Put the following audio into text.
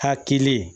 Hakili